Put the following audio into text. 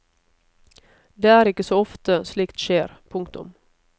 Det er ikke så ofte slikt skjer. punktum